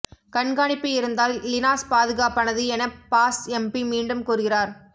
கண்காணிப்பு இருந்தால் லினாஸ் பாதுகாப்பானது எனப் பாஸ் எம்பி மீண்டும் கூறுகிறார்